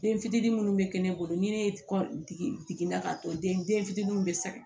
Den fitinin minnu bɛ kɛ ne bolo ni ne kɔ digɛna ka to den fitininw bɛ saka